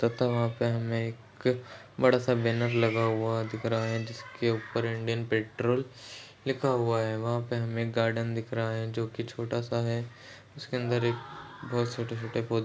तथा वहाँ पर हमें एक बड़ा सा बैनर लगा हुआ दिख रहा है जिसके ऊपर इंडियन पेट्रोल लिखा हुआ है वहाँ पर हमें एक गार्डन दिख रहा है जो की छोटा सा है उसके अंदर एक बहुत छोटे-छोटे पौधे --